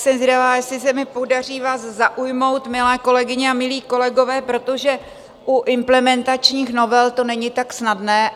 Jsem zvědavá, jestli se mi podaří vás zaujmout, milé kolegyně a milí kolegové , protože u implementačních novel to není tak snadné.